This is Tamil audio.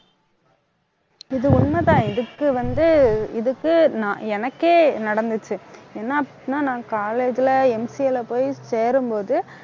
இது உண்மைதான் . இதுக்கு வந்து, இதுக்கு நான் எனக்கே நடந்துச்சு. என்ன அப்படின்னா நான் college ல MCA ல போய் சேரும்போது